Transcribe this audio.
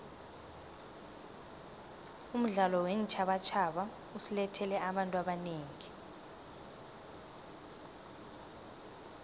umdlalo weentjhabatjhaba usilethele abantu abanengi